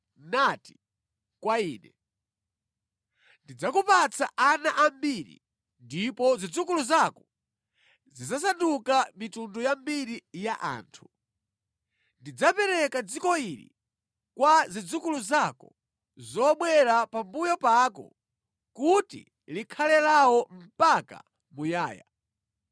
nati kwa ine, ‘Ndidzakupatsa ana ambiri ndipo zidzukulu zako zidzasanduka mitundu yambiri ya anthu. Ndidzapereka dziko ili kwa zidzukulu zako zobwera pambuyo pako kuti likhale lawo mpaka muyaya.’